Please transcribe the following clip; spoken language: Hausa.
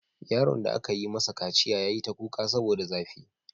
Yaron da aka yi masa kaciya ya yi ta kuka saboda zafi.